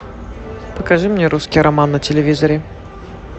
покажи мне русский роман на телевизоре